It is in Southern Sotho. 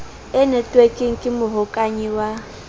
e netwekeng ke mohokahanyi wa